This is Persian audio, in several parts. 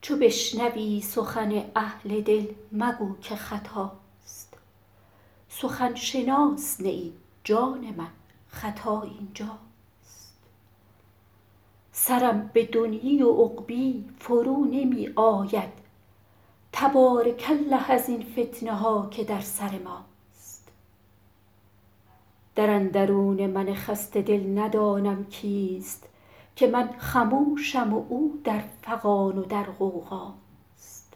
چو بشنوی سخن اهل دل مگو که خطاست سخن شناس نه ای جان من خطا این جاست سرم به دنیی و عقبی فرو نمی آید تبارک الله ازین فتنه ها که در سر ماست در اندرون من خسته دل ندانم کیست که من خموشم و او در فغان و در غوغاست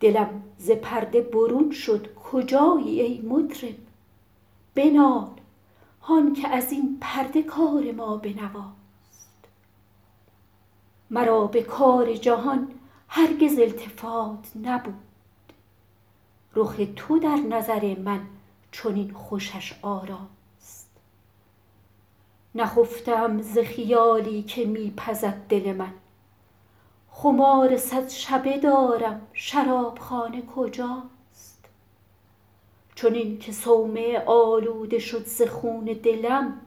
دلم ز پرده برون شد کجایی ای مطرب بنال هان که از این پرده کار ما به نواست مرا به کار جهان هرگز التفات نبود رخ تو در نظر من چنین خوشش آراست نخفته ام ز خیالی که می پزد دل من خمار صد شبه دارم شراب خانه کجاست چنین که صومعه آلوده شد ز خون دلم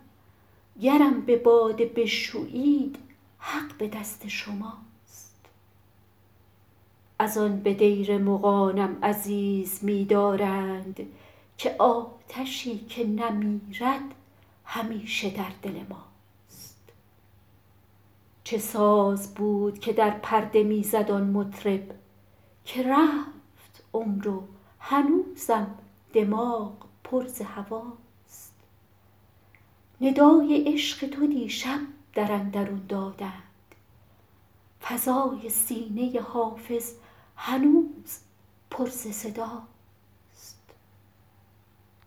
گرم به باده بشویید حق به دست شماست از آن به دیر مغانم عزیز می دارند که آتشی که نمیرد همیشه در دل ماست چه ساز بود که در پرده می زد آن مطرب که رفت عمر و هنوزم دماغ پر ز هواست ندای عشق تو دیشب در اندرون دادند فضای سینه حافظ هنوز پر ز صداست